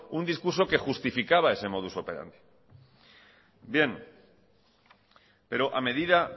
un discurso que justificaba ese modus operandi bien pero a medida